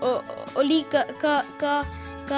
og líka